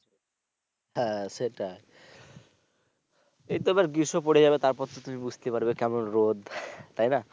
হ্যা সেটা এই তো আবার গ্রীষ্ম পরে যাবে তারপর তো তুমি বুঝতে পারবে কেমন রোদ তাইনা।